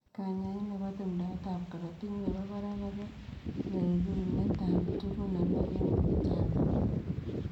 Kanyaaet nepoo tumdaet ap korotik nepoo parak kopee rerunet ap tugun alak eng portoo anan